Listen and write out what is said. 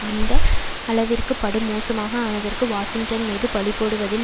இந்த அளவிற்கு படுமோசமாக ஆனதற்கு வாஷிங்டன் மீது பழிபோடுவதில்